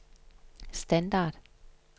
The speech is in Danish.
standard